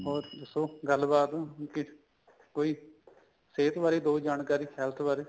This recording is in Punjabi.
ਹੋਰ ਦੱਸੋ ਗੱਲਬਾਤ ਕਿਸ ਕੋਈ ਸਿਹਤ ਬਾਰੇ ਦੋ ਜਾਣਕਾਰੀ health ਬਾਰੇ